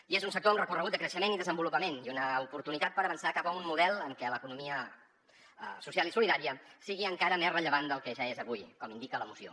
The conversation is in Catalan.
i és un sector amb recorregut de creixement i desenvolupament i una oportunitat per avançar cap a un model en què l’economia social i solidària sigui encara més rellevant del que ja és avui com indica la moció